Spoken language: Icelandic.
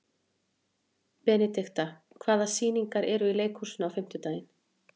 Benidikta, hvaða sýningar eru í leikhúsinu á fimmtudaginn?